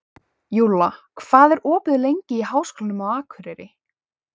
Júlla, hvað er opið lengi í Háskólanum á Akureyri?